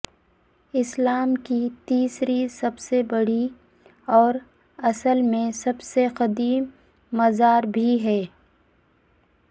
اسلام کی تیسری سب سے بڑی اور اصل میں سب سے قدیم مزار بھی ہے